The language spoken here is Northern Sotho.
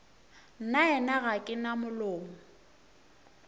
nnaena ga ke na molomo